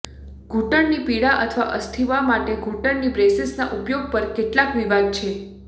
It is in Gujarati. ઘૂંટણની પીડા અથવા અસ્થિવા માટે ઘૂંટણની બ્રેસીસના ઉપયોગ પર કેટલાક વિવાદ છે